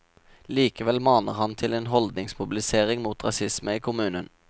Likevel maner han til en holdningsmobilisering mot rasisme i kommunen.